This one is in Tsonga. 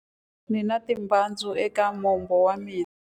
Ndzi na timbyatsu eka mombo wa mina.